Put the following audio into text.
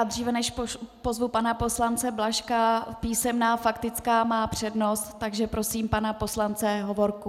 A dříve než pozvu pana poslance Blažka, písemná faktická má přednost, takže pozvu pana poslance Hovorku.